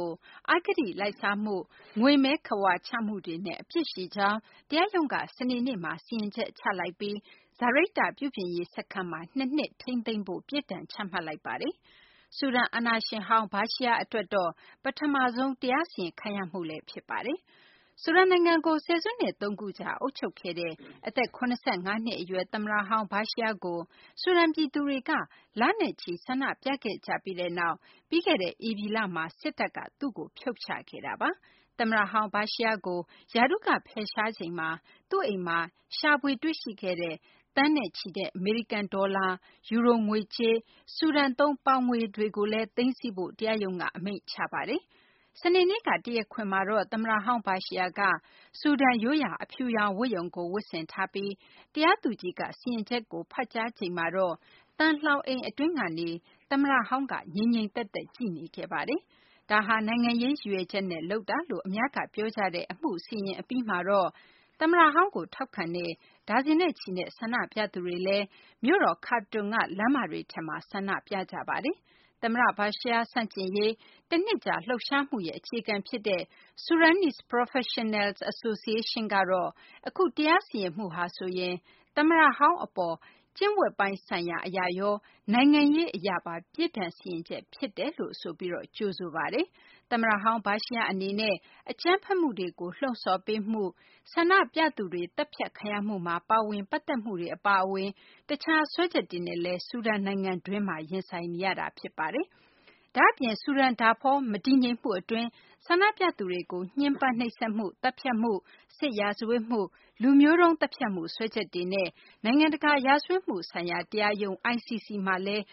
ို အဂတိလိုက်စားမှု၊ ငွေမည်းခဝါချမှုတွေနဲ့ အပြစ်ရှိကြောင်း တရားရုံးက စနေနေ့မှာ စီရင်ချက်ချလိုက်ပြီး စာရိတ္တပြုပြင်ရေးစခန်းမှာ ၂ နှစ် ထိန်းသိမ်းဖို့ ပြစ်ဒဏ်ချမှတ်လိုက်ပါတယ်။ ဆူဒန် အာဏာရှင်ဟောင်း Bashir အတွက်တော့ ဒါဟာ ပထမဆုံး တရားစီရင်ခံရမှု ဖြစ်ပါတယ်။ ဆူဒန်နိုင်ငံကို ဆယ်စုနှစ် သုံးခုကြာ အုပ်ချုပ်ခဲ့တဲ့ အသက် ၇၅ နှစ်အရွယ် သမ္မတဟောင်း Bashir ကို ဆူဒန်ပြည်သူတွေက လနဲ့ချီ ဆန္ဒပြခဲ့ကြပြီးတဲ့နောက် ပြီးခဲ့တဲ့ဧပြီလမှာ စစ်တပ်က သူ့ကို ဖြုတ်ချခဲ့တာပါ။ သမ္မတဟောင်း Bashir ကို ရာထူးက ဖယ်ရှားချိန်မှာ သူ့အိမ်မှာ ရှာဖွေတွေ့ရှိခဲ့တဲ့ သန်းနဲ့ချီတဲ့ အမေရိကန်ဒေါ်လာ၊ ယူရိုငွေကြေးနဲ့ ဆူဒန်သုံး ပေါင်ငွေတွေကိုလည်း သိမ်းဆည်းဖို့ တရားရုံးက အမိန့်ချမှတ်ပါတယ်။ စနေနေ့က တရားခွင်မှာတော့ သမ္မတဟောင်း Bashir က ဆူဒန်ရိုးရာ အဖြူရောင်ဝတ်ရုံကို ဝတ်ဆင်ထားပြီး တရားသူကြီးက စီရင်ချက်ကို ဖတ်ကြားချိန်မှာတော့ သံလှောင်အိမ်အတွင်းကနေ သမ္မတဟောင်းက ငြိမ်ငြိမ်သက်သက် ကြည့်နေခဲ့ပါတယ်။ ဒါဟာ နိုင်ငံရေးရည်ရွယ်ချက်နဲ့ လုပ်တာလို့ အများက ပြောကြတဲ့အမှုကို စီရင်အပြီးမှာတော့ သမ္မတဟောင်းကို ထောက်ခံတဲ့ ဒါဇင်နဲ့ချီတဲ့ ဆန္ဒပြသူတွေကလည်း မြို့တော် Khartoum က လမ်းမတွေမှာ ဆန္ဒပြခဲ့ကြပါတယ်။ သမ္မတ Bashir ဆန့်ကျင်ရေး တနှစ်ကြာ လှုပ်ရှားမှုရဲ့ အခြေခံဖြစ်တဲ့ Sudanese Professionals Association ကတော့ အခု တရားစီရင်မှုဟာဆိုရင် သမ္မတဟောင်းအပေါ် ကျင့်ဝတ်ပိုင်းဆိုင်ရာအရရော နိုင်ငံရေးအရပါ ပြစ်ဒဏ်စီရင်ချက် ဖြစ်တယ်လို့ဆိုပြီး ကြိုဆိုလိုက်ပါတယ်။ သမ္မတဟောင်း Bashir အနေနဲ့ အကြမ်းဖက်မှုတွေကို လှုံ့ဆော်မှု၊ ဆန္ဒပြသူတွေ သတ်ဖြတ်ခံရမှုမှာ ပါဝင်ပတ်သက်မှုတွေ အပါအဝင် တခြားစွဲချက်တွေနဲ့လည်း ဆူဒန်နိုင်ငံတွင်းမှာ ရင်ဆိုင်နေရတာ ဖြစ်ပါတယ်။ ဒါ့အပြင် ဆူဒန်၊ ဒါဖောဒေသ မတည်ငြိမ်မှုအတွင်း ဆန္ဒပြသူတွေကို ညှဉ်းပန်းနှိပ်စက်မှု၊ သတ်ဖြတ်မှု၊ စစ်ရာဇဝတ်မှု၊ လူမျိုးတုံးသတ်ဖြတ်မှု စွဲချက်တွေနဲ့ နိုင်ငံတကာ ရာဇဝတ်မှုဆိုင်ရာတရားရုံး (ICC) မှာလည်း